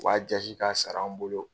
U b'a jasi k'a sara an bolo.